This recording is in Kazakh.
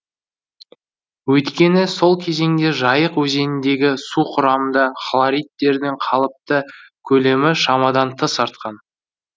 өйткені сол кезеңде жайық өзеніндегі су құрамында хлоридтердің қалыпты көлемі шамадан тыс артқан